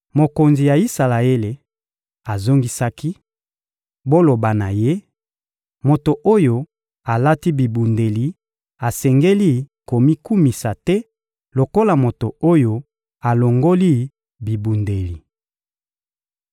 Mokonzi ya Isalaele azongisaki: — Boloba na ye: «Moto oyo alati bibundeli asengeli komikumisa te lokola moto oyo alongoli bibundeli!»